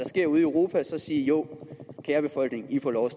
sker ude i europa sige jo kære befolkning i får lov at